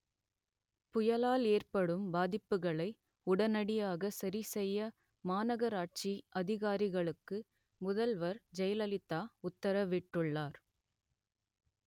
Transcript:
புயலா‌ல் ஏ‌ற்படு‌ம் பா‌தி‌ப்புகளை உடனடியாக ச‌ரி செ‌ய்ய மாநகரா‌ட்‌சி அ‌திகா‌ரிக‌ளு‌க்கு முத‌ல்வ‌ர் ஜெயல‌லிதா உ‌த்தர‌வி‌ட்டு‌ள்ளா‌ர்